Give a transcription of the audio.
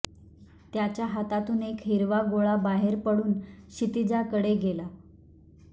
त्याच्या हातातून एक हिरवा गोळा बाहेर पडून क्षितिजाकडे गेला